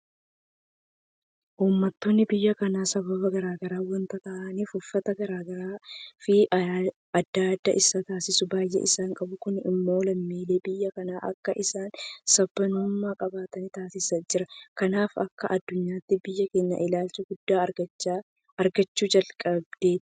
Uummattoonni biyya kanaa saba garaa garaa waanta ta'aniif uffata garaa garaafi aadaa adda isaan taasisu baay'ee isaa qabu. Kun immoo lammiileen biyya kanaa akka isaan sabboonummaa qabaatan taasisaa jira. Kanaaf akka addunyaatti biyyi keenya ilaalcha guddaa argachuu jalqabdeetti.